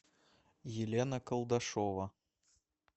елена колдашова